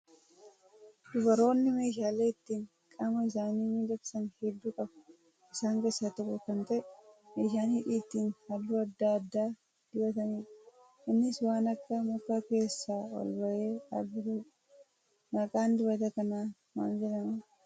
Dubaroonni meeshaalee ittiin qaama isaanii miidhagsan hedduu qabu. Isaan keessaa tokko kan ta'e meeshaa hidhii ittiin halluu adda addaa dibatanidha. Innis waan akka mukaa keessaa ol bahee dhaabbatudha. Maqaan dibata kanaa maal jedhama?